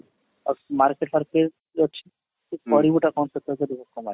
market